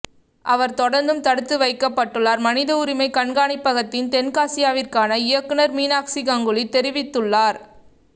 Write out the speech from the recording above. அவர் தொடர்ந்தும் தடுத்து வைக்கப்பட்டுள்ளார் மனித உரிமை கண்காணிப்பகத்தின் தென்னாசியாவிற்கான இயக்குநர் மீனாக்சி கங்குலி தெரிவித்துள்ளார்